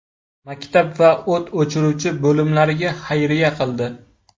Maktab va o‘t o‘chiruvchi bo‘limlarga xayriya qildi.